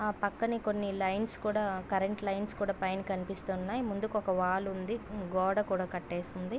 ఏ పక్కనే కొన్ని లైన్స్ కూడా కరెంటు లైన్స్ కూడా పైన కనిపిస్తు ఉనాయి. ముందుకు ఒక వాల్ ఉన్నది గోడ కూడా కాటేసి ఉన్నది.